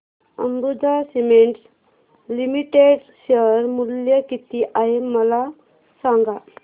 Ambuja cements limited share मूल्य किती आहे मला सांगा